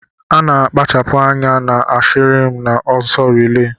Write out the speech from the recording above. Ana akpachapu anya na ahirim na ọsọ relay.